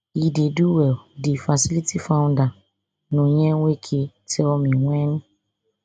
e dey do well di facility founder nonye nweke tell me wen